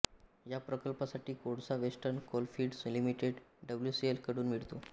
या प्रकल्पासाठी कोळसा वेस्टर्न कोलफिल्ड्स लिमिटेड डब्ल्यूसीएल कडून मिळतो